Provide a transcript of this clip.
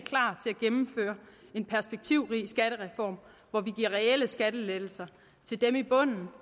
gennemføre en perspektivrig skattereform hvor vi giver reelle skattelettelser til dem i bunden dem